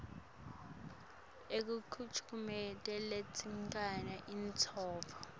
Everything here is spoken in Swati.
tahulumende letesekela intsandvo